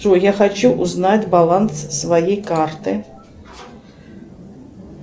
джой я хочу узнать баланс своей карты